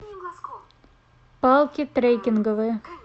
палки трекинговые